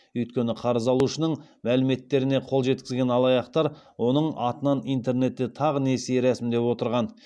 өйткені қарыз алушының мәліметтеріне қол жеткізген алаяқтар оның атынан интернетте тағы несие рәсімдеп отырған